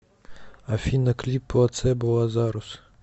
афина клип плацебо лазарус